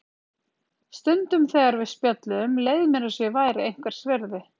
Stundum þegar við spjölluðum leið mér eins og ég væri einhvers virði.